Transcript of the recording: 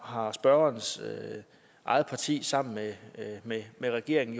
har spørgerens eget parti sammen med med regeringen